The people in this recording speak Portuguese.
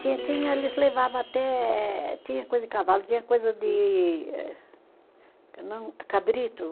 Tinha, tinha, eles levava até, tinha coisa de cavalo, tinha coisa de eh não, cabrito.